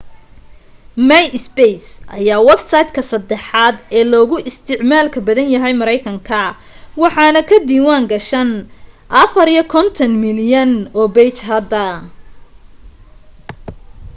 myspace ayaa websiteka sadaxaad ee loogu isticmaalka badan yahay mareykanka waxaan ka diwaan gashan 54 milyan oo page hadda